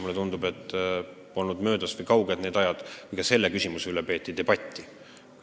Mulle tundub, et pole möödas ega kaugel need ajad, kui ka selle küsimuse üle peeti debatti.